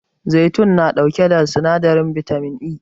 Zaitun na ɗauke da sinadarin bitamin E